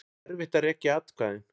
Erfitt að rekja atkvæðin